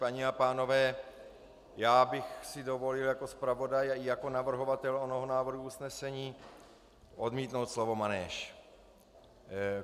Paní a pánové, já bych si dovolil jako zpravodaj a jako navrhovatel onoho návrhu usnesení odmítnout slovo manéž.